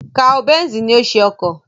Carl Benz ni ó ṣe ọkọ̀